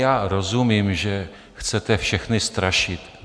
Já rozumím, že chcete všechny strašit.